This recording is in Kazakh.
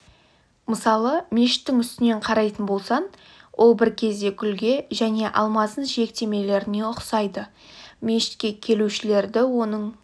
мысалы мешіттің үстінен қарайтын болсаң ол бір кезде гүлге және алмаздың жиектемелеріне ұқсайды мешітке келушілерді оның